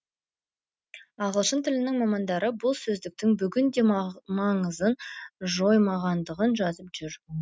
ағылшын тілінің мамандары бұл сөздіктің бүгінде маңызын жоймағандығын жазып жүр